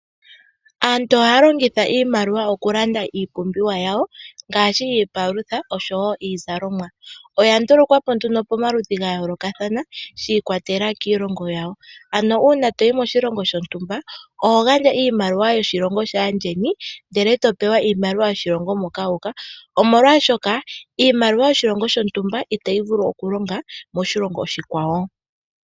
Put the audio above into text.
Aantu ohaya longitha iimaliwa oku landa iipumbiwa yawo ngaashi iipalutha oshowo iizalomwa. Oya ndulukwa po nduno pamaludhi ga yoolokathana shi ikwatelela kiilongo yawo. Ano uuna toyi moshilongo shontumba oho gandja iimaliwa yoshilongo shaayeni ndele e to pewa iimaliwa yoshilongo moka wu uka, omolwaashoka iimaliwa yoshilongo shontumba itayi vulu oku longa moshilongo oshikwawo.